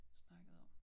Snakkede om